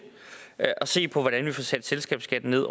at se på hvordan vi får sat selskabsskatten ned